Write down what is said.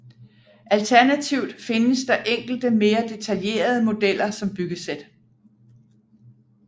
Alternativt findes der enkelte mere detaljerede modeller som byggesæt